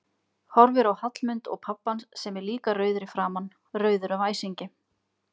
Horfir á Hallmund og pabba hans sem er líka rauður í framan, rauður af æsingi.